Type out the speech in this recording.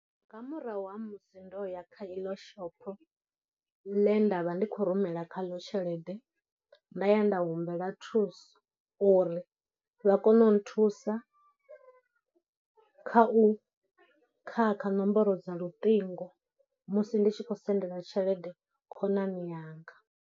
Nga murahu ha musi ndo ya kha iḽo shopho ḽe nda vha ndi khou rumela kha ḽo tshelede nda ya nda humbela thuso uri vha kone u nthusa kha u khakha nomboro dza luṱingo musi ndi tshi khou sendela tshelede khonani yanga.